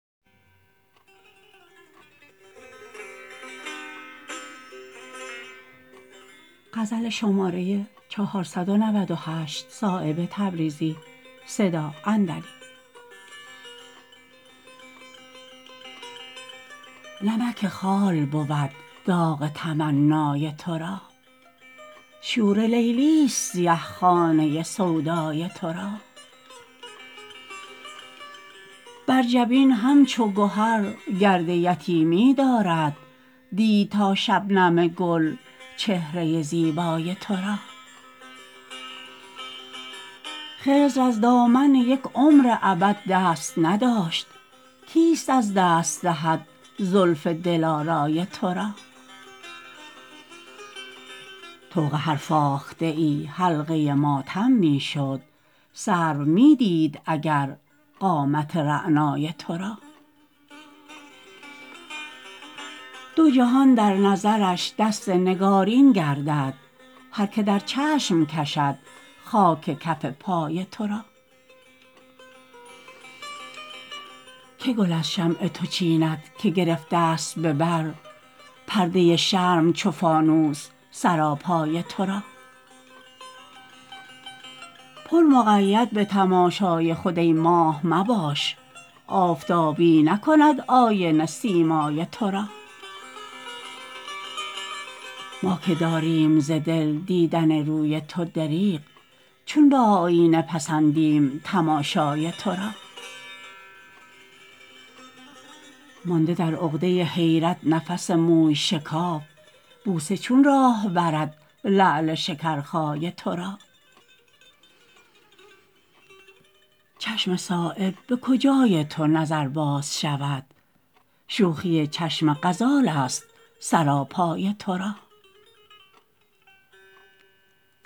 نمک خال بود داغ تمنای ترا شور لیلی است سیه خانه سودای ترا بر جبین همچو گهر گرد یتیمی دارد دید تا شبنم گل چهره زیبای ترا خضر از دامن یک عمر ابد دست نداشت کیست از دست دهد زلف دلارای ترا طوق هر فاخته ای حلقه ماتم می شد سرو می دید اگر قامت رعنای ترا دو جهان در نظرش دست نگارین گردد هر که در چشم کشد خاک کف پای ترا که گل از شمع تو چیند که گرفته است به بر پرده شرم چو فانوس سراپای ترا پر مقید به تماشای خود ای ماه مباش آفتابی نکند آینه سیمای ترا ما که داریم ز دل دیدن روی تو دریغ چون به آیینه پسندیم تماشای ترا مانده در عقده حیرت نفس موی شکاف بوسه چون راه برد لعل شکرخای ترا چشم صایب به کجای تو نظرباز شود شوخی چشم غزال است سراپای ترا